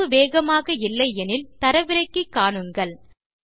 இணைப்பு வேகமாக இல்லை எனில் தரவிறக்கி காணுங்கள்